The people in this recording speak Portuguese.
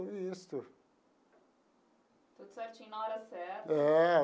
Tudo isso. Tudo certinho na hora certa. É.